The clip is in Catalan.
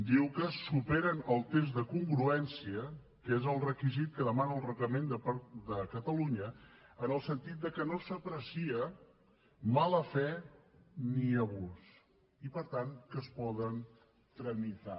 diu que superen el test de congruència que és el requisit que demana el reglament de catalunya en el sentit de que no s’aprecia mala fe ni abús i per tant que es poden tramitar